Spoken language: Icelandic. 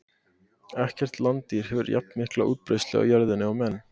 ekkert landdýr hefur jafnmikla útbreiðslu á jörðinni og menn